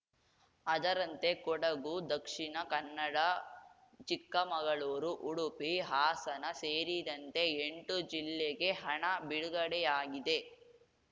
ಅದರಂತೆ ಕೊಡಗು ದಕ್ಷಿಣ ಕನ್ನಡ ಚಿಕ್ಕಮಗಳೂರು ಉಡುಪಿ ಹಾಸನ ಸೇರಿದಂತೆ ಎಂಟು ಜಿಲ್ಲೆಗೆ ಹಣ ಬಿಡುಗಡೆಯಾಗಿದೆ